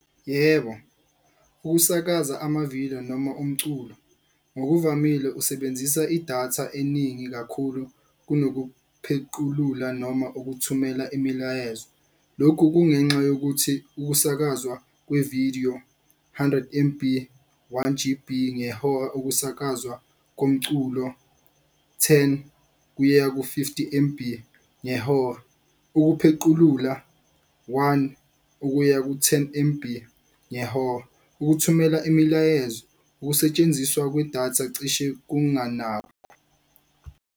Yebo, ukusakaza amavidiyo noma umculo ngokuvamile usebenzisa idatha eningi kakhulu kunokuphequlula noma ukuthumela imilayezo. Lokhu kungenxa yokuthi ukusakazwa kwevidiyo, hundred M_B, one G_B ngehora ukusakazwa komculo. Ten kuya ku-fifty M_B ngehora, ukuphequlula one ukuya ku-ten M_B ngehora ukuthumela imilayezo ukusetshenziswa kwedatha cishe .